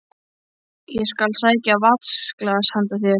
Ég skal sækja vatnsglas handa þér